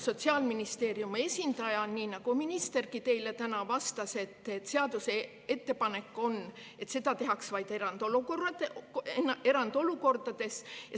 Sotsiaalministeeriumi esindaja, nii nagu ministergi teile täna, vastas, et ettepanek on, et seda tehtaks vaid erandolukordades.